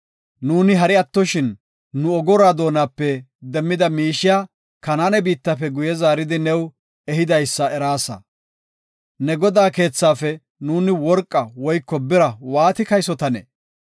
Nuuni hari attoshin, nu ogoruwa doonape demmida miishiya Kanaane biittafe guye zaaridi new ehidaysa eraasa. Ne godaa keethaafe nuuni worqa woyko bira waati kaysotanee?